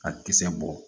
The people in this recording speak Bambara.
A kisɛ bɔ